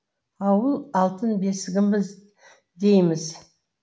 ауыл алтын бесігіміз дейміз